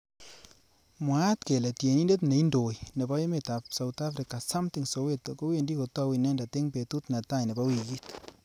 Mwaat kele tienindet neindoi nebo emet ab South africa, Samthing soweto kowendi kotou inendet eng betut netai nebo wikit